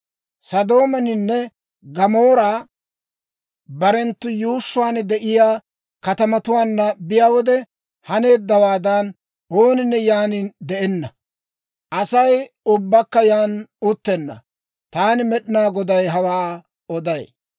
Sodoominne Gamoori barenttu yuushshuwaan de'iyaa katamatuwaanna bayiyaa wode haneeddawaadan, ooninne yaan de'enna; Asay ubbakka yaan uttenna. Taani Med'inaa Goday hawaa oday.